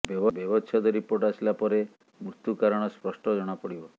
ବ୍ୟବଚ୍ଛେଦ ରିପୋର୍ଟ ଆସିଲା ପରେ ମୃତ୍ୟୁ କାରଣ ସ୍ପଷ୍ଟ ଜଣାପଡିବ